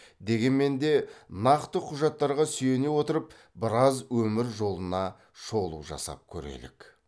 дегенмен де нақты құжаттарға сүйене отырып біраз өмір жолына шолу жасап көрелік